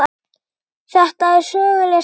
Þetta er söguleg stund.